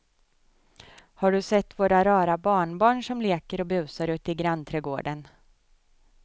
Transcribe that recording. Har du sett våra rara barnbarn som leker och busar ute i grannträdgården!